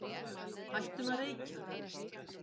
Hættum að reykja.